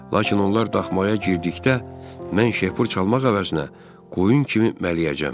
Lakin onlar daxmaya girdikdə, mən şeypur çalmaq əvəzinə qoyun kimi mələyəcəm.